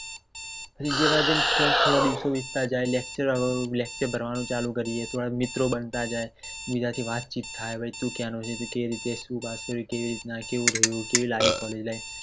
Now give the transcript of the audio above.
જેમ જેમ થોડા દિવસો વીતતા જાય lecture ભરવાનું ચાલુ કરીયે અથવા મિત્રો બનતા જાય બીજા થી વાત ચેટ થાય તું ક્યાંનો છે તું કેવી રીતે કેવી લાગી College life